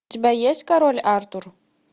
у тебя есть король артур